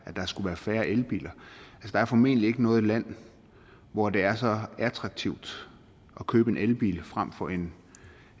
skulle være færre elbiler der er formentlig ikke noget land hvor det er så attraktivt at købe en elbil frem for en